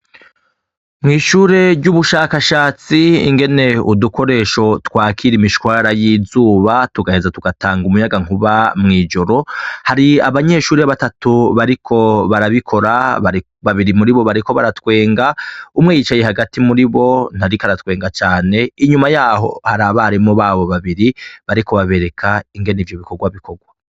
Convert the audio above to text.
Mw'ishure ry'ubushakashatsi, ingene udukoresho twakira imishwara y'izuba tugaheza tugatanga umuyaga nkuba mw'ijoro, hari abanyeshure batatu bariko barabikora, babiri muribo bariko baratwenga, umwe yicaye hagati muribo ntariko aratwenga cane, inyuma yaho hari abarimu babiri bariko babereka ingene ivyo bikorwa bikorwa.